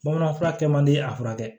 Bamanan fura kɛ man di a furakɛ